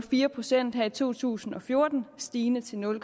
procent her i to tusind og fjorten stigende til nul